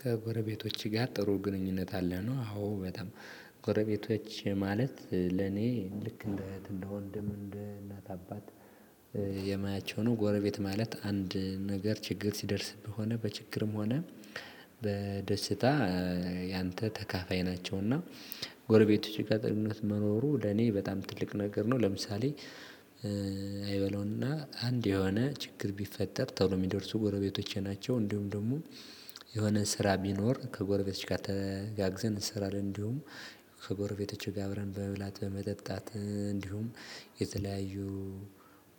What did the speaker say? ከጎረቤቶች ጋር ጥሩ ግንኙነት አለ ነው አዎ በጣም ጎረቤቶች ማለት ለኔ ልክ እንደ እህት እንደ ወንድም እንደ እናት አባት የማያቸው ነው። ጎረቤት ማለት አንድ ነገር ችግር ሲደርስብህ ሆነ በችግርም ሆነ በደስታ ያንተ ተካፋይ ናቸውና። ጎረቤቶች ጋር ጥሩ ግንኙነት መኖሩ ለኔ በጣም ትልቅ ነገር ነው። ለምሳሌ አንድ የሆነ ችግር ቢፈጠር ቶሎ የሚደርሱ ጎረቤቶቼ ናቸው። እንዲሁም ደግሞ የሆነ ስራ ቢኖር ከጎረቤቶች ጋር ተጋግዘን እንሰራለን። እንዲሁም ከጎረቤቶች ጋር አብረን በመብላት በመጠጣት እንዲሁም የተለያዩ